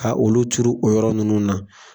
Ka olu turu o yɔrɔ ninnu na.